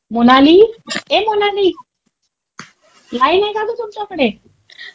मोनाली, ए मोनाली? लाईन आहे का गं तुमच्याकडे?